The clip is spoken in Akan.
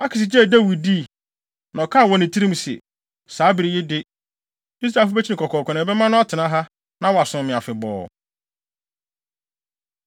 Akis gyee Dawid dii, na ɔkaa wɔ ne tirim se, “Saa bere yi de, Israelfo bekyi no kɔkɔɔkɔ, na ɛbɛma no atena ha, na wasom me afebɔɔ.”